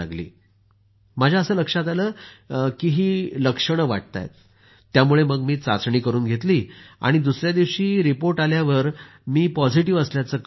त्यावेळी माझ्या असं लक्षात आलं की ही लक्षणे वाटताहेत त्यामुळे मग मी चाचणी करुन घेतली आणि दुसऱ्या दिवशी रिपोर्ट आल्यावर मी पॉझिटिव्ह असल्याचं कळलं